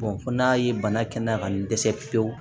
fo n'a ye bana kɛnɛya ka n dɛsɛ pewu